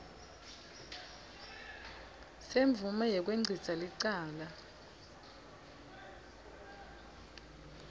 semvume yekwengcisa licala